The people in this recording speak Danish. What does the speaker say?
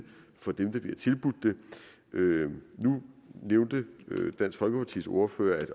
for dem der bliver tilbudt det nu nævnte dansk folkepartis ordfører